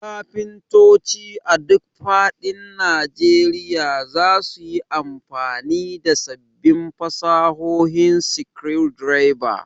Kafintoci a duk faɗin Najeriya za su yi amfani da sabbin fasahohin screwdriver.